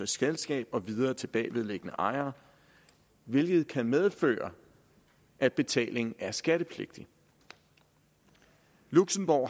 selskab og videre til bagvedliggende ejere hvilket kan medføre at betalingen er skattepligtig luxembourg